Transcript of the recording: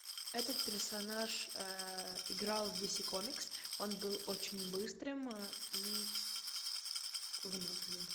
этот персонаж играл в ди си комикс он был очень быстрым и выносливым